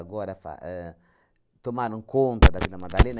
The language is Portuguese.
Agora fa ahn, tomaram conta da Vila Madalena.